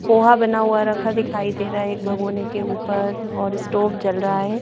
पोहा बना हुआ रखा दिखाई दे रहा है एक भगोने के ऊपर और स्टोव जल रहा है।